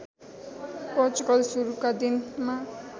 पोर्चुगल सुरुका दिनमा